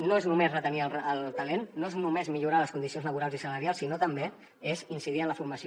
no és només retenir el talent no és només millorar les condicions laborals i salarials sinó que també és incidir en la formació